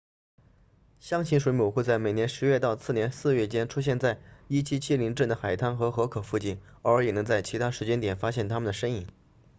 箱型水母会在每年十月到次年四月间出现在1770镇的海滩和河口附近偶尔也能在其他时间点发现它们的身影